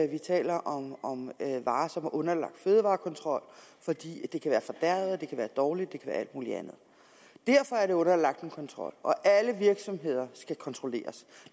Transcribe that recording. vi taler om om varer som er underlagt fødevarekontrol fordi det kan være fordærvet og dårligt og alt muligt andet derfor er det underlagt en kontrol og alle virksomheder skal kontrolleres